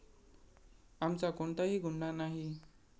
आमचा कोणताही गुन्हा नाही.